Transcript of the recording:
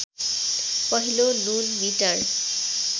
पहिलो नुन मिटर